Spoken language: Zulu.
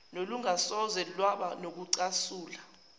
olungasoze lwaba nokucasula